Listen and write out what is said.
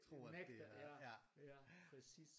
Han nægter ja præcis